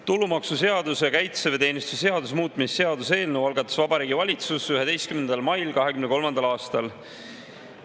Tulumaksuseaduse ja kaitseväeteenistuse seaduse muutmise seaduse eelnõu algatas Vabariigi Valitsus 11. mail 2023. aastal.